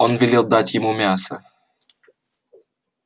он велел дать ему мяса